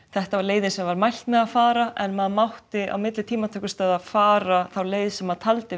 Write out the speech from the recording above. þetta var leiðin sem var mælt með að fara en maður mátti á milli tímatökustaða fara þá leið sem maður taldi